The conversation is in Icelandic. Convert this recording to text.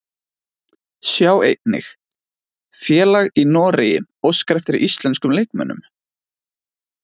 Sjá einnig: Félag í Noregi óskar eftir íslenskum leikmönnum